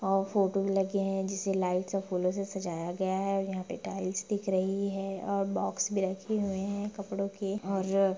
अ photo भी लगे है जिसे लाइट और फूलों से सजाया गया है यहां पर टाइल्स दिख रही है और बॉक्स भी रखे हुए हैं कपड़ों के और --